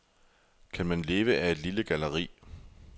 Kan man leve af et lille galleri?